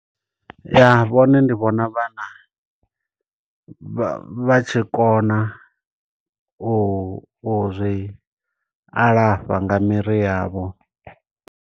Ya, vhone ndi vhona vha na, vha vha tshi kona u ri alafha nga miri yavho.